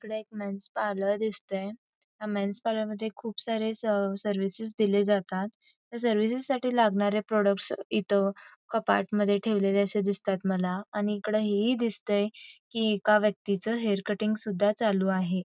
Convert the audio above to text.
इकडे एक men's parlour दिसतंय या मेन्स पार्लर मध्ये खूप सारे सर्विस दिले जातात या सर्विसेस साठी लागणारे प्रॉडक्ट्स इथं कपाटमध्ये ठेवलेले दिसतात मला आणि एक व्यक्तीच हेअर कटिंग सुद्धा चालू आहे.